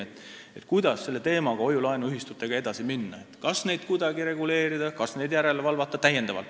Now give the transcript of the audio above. Arutame, kuidas hoiu-laenuühistute teemaga edasi minna – kas neid kuidagi reguleerida, suurendada järelevalvet või mida seal teha.